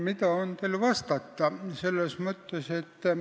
Mida on mul teile vastata?